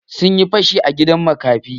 Sun yi fashi a gidan makafi.